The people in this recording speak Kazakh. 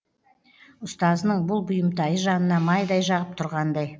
ұстазының бұл бұйымтайы жанына майдай жағып тұрғандай